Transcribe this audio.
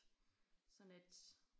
Sådan et